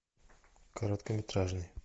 короткометражный